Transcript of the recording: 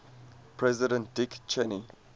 president dick cheney